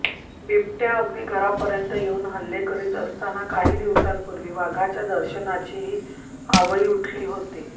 बिबट्या अगदी घरापर्यंत येऊन हल्ले करीत असताना काही दिवसांपूर्वी वाघाच्या दर्शनाचीही आवई उठली होती